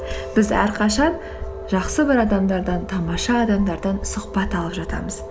біз әрқашан жақсы бір адамдардан тамаша адамдардан сұхбат алып жатамыз